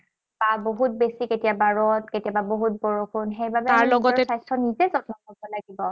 আৰু বহুত বেছি কেতিয়াবা ৰদ, কেতিয়াবা বহুত বৰষুণ, সেইবাবে আমি নিজৰ স্বাস্থ্যৰ নিজেই যত্ন লব লাগিব।